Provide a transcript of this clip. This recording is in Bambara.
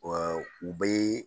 u bɛ